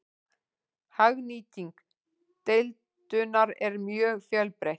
Hagnýting deildunar er mjög fjölbreytt.